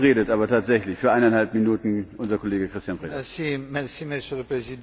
Monsieur le Président, je dois toujours parler après des affirmations comme celle là.